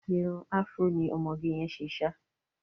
Irun afro ni ọmọge yẹn ṣe ṣá.